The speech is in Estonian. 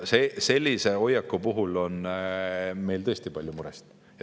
Sellise hoiaku puhul on meil tõesti palju muresid.